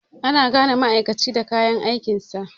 Ana gane ma'aikaci daga kayan aikinsa.